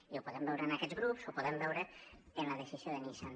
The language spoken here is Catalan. i ho podem veure en aquests grups ho podem veure en la decisió de nissan